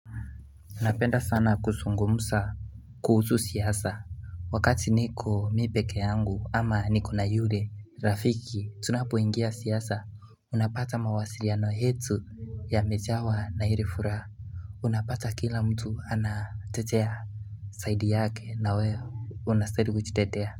Napenda sana kusungumusa kuhusu siyasa Wakati niko mi pekee yangu ama niko na yule rafiki tunapoingia siyasa Unapata mawasiriano yetu yamejawa na hiri furaha Unapata kila mtu anatetea side yake na we unastahili kujitetea.